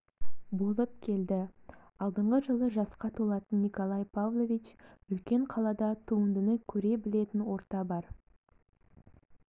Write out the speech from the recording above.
болып келді алдағы жылы жасқа толатын николай павлович үлкен қалада туындыны көре білетін орта бар